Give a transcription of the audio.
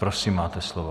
Prosím, máte slovo.